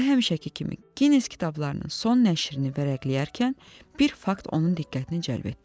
Və həmişəki kimi Gines kitablarının son nəşrini vərəqləyərkən bir fakt onun diqqətini cəlb etdi.